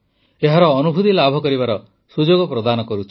ଏହାର ଅନୁଭୂତି ଲାଭ କରିବାର ସୁଯୋଗ ପ୍ରଦାନ କରୁଛି